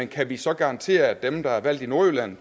kan vi så garantere at dem der er valgt i nordjylland